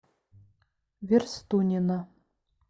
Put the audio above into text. верстунина